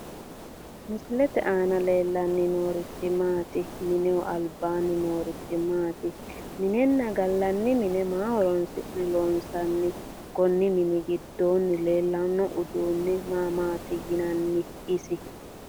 Misilete aana leellanni noorichi maati? Mineho albaanni noorichi maati? Minenna gallanni mine maa horoonsi'ne loonsanni? Konni mini giddonni leellanno uddunni maa maati yinanni isi?